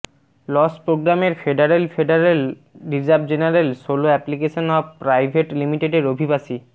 loss প্রোগ্রামের federal federal reserve general solo application of private লিমিটেডের অভিবাসী